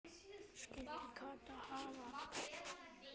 Skyldi Kata hafa fitnað?